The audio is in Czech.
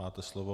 Máte slovo.